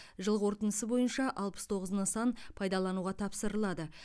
жыл қорытындысы бойынша алпыс тоғыз нысан пайдалануға тапсырылады